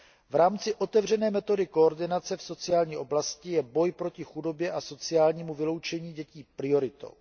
V rámci otevřené metody koordinace v sociální oblasti je boj proti chudobě a sociálnímu vyloučení dětí prioritou.